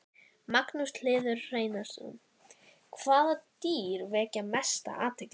Magnús Hlynur Hreiðarsson: Hvaða dýr vekja mesta athygli?